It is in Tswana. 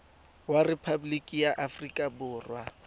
wa rephaboliki ya aforika borwa